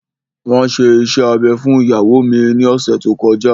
Wọn ṣe iṣẹ́ abẹ fún ìyàwó mi ní ọ̀sẹ̀ tí ó kọjá